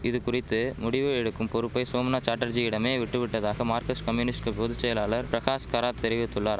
இதுகுறித்து முடிவு எடுக்கும் பொறுப்பை சோம்நாத் சாட்டர்ஜியிடமே விட்டுவிட்டதாக மார்கஸ்ட் கம்யூனிஸ்ட் பொது செயலாளர் பிரகாஷ் கராத் தெரிவித்துள்ளார்